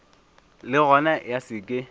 le gona ya se ke